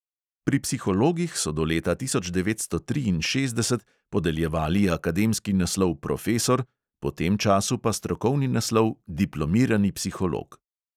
Pri psihologih so do leta tisoč devetsto triinšestdeset podeljevali akademski naslov profesor, po tem času pa strokovni naslov diplomirani psiholog.